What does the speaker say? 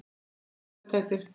Þau eiga saman tvær dætur.